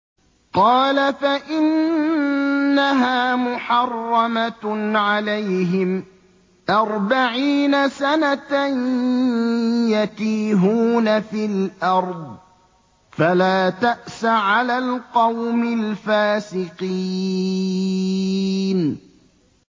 قَالَ فَإِنَّهَا مُحَرَّمَةٌ عَلَيْهِمْ ۛ أَرْبَعِينَ سَنَةً ۛ يَتِيهُونَ فِي الْأَرْضِ ۚ فَلَا تَأْسَ عَلَى الْقَوْمِ الْفَاسِقِينَ